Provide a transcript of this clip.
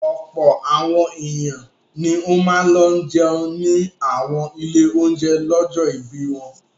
Ọ̀pọ̀ àwọn ènìyàn ni ó máa lọ jẹun ní àwọn ilé-oúnjẹ lọ́jọ́ ìbí wọn.